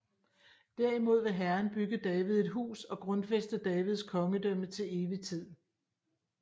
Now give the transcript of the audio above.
Derimod vil Herren bygge David et hus og grundfæste Davids kongedømme til evig tid